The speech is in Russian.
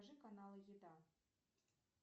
покажи каналы еда